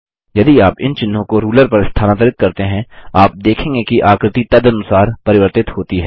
यदि आप इन चिन्हों को रूलर पर स्थानांतरित करते हैं आप देखेंगे कि आकृति तदनुसार परिवर्तित होती है